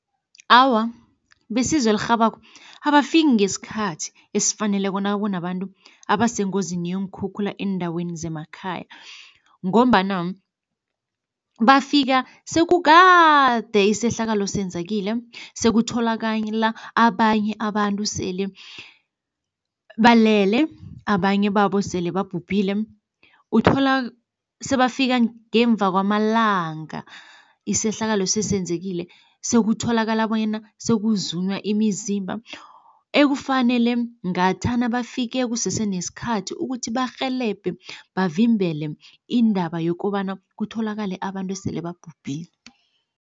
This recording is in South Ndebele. Awa, besizo elirhabako abafiki ngesikhathi esifaneleko nakunabantu abasengozini yeenkhukhula eendaweni zemakhaya ngombana bafika sekukade isehlakalo senzekile, sekutholakala abanye abantu sele balele, abanye babo sele babhubhile. Uthola sebafika ngemva kwamalanga isehlakalo sesenzekile, sekutholakala bonyana sokuzunywa imizimba ekufanele ngathana bafike kusese nesikhathi ukuthi barhelebhe bavimbele indaba yokobana kutholakale abantu esele babhubhile.